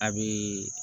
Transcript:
A bɛ